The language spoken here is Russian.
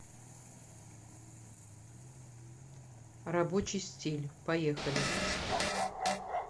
рабочий стиль поехали